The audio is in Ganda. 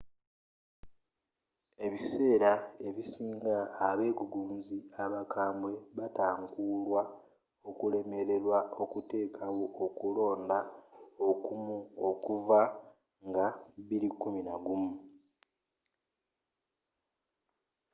ebiseera ebisinga – abegugunzi abakambwe batankuulwa okulemerwa okuteekawo okulonda okumu okuva nga 2011